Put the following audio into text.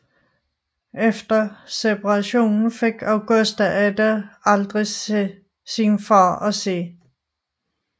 Efter separationen fik Augusta Ada aldrig sin far at se